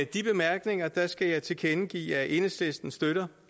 de bemærkninger skal jeg tilkendegive at enhedslisten støtter